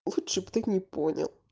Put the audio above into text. лучше б ты не понял